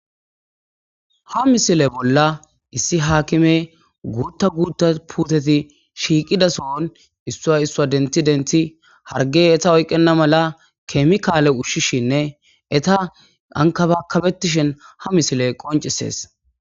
Ha missile bola hakime guta guta puteti shiiqida sohon issua issua denti denti harige eta oyikena mala kemikale ushishinne eta ankabakabetishe ha missile qoncises.